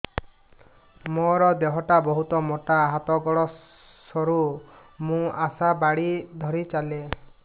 ମୋର ଦେହ ଟା ବହୁତ ମୋଟା ହାତ ଗୋଡ଼ ସରୁ ମୁ ଆଶା ବାଡ଼ି ଧରି ଚାଲେ